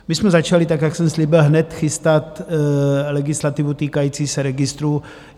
My jsme začali tak, jak jsem slíbil, hned chystat legislativu týkající se registrů.